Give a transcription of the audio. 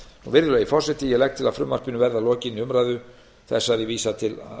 virðulegi forseti ég legg til að frumvarpinu verði að lokinni umræðu þessari vísað til